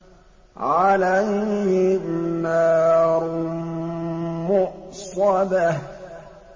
عَلَيْهِمْ نَارٌ مُّؤْصَدَةٌ